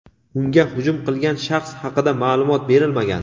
unga hujum qilgan shaxs haqida ma’lumot berilmagan.